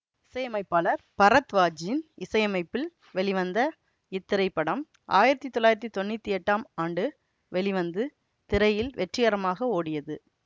இசையமைப்பாளர் பரத்வாஜின் இசையமைப்பில் வெளிவந்த இத்திரைப்படம் ஆயிரத்தி தொள்ளாயிரத்தி தொன்னூத்தி எட்டாம் ஆண்டு வெளிவந்து திரையில் வெற்றிகரமாக ஓடியது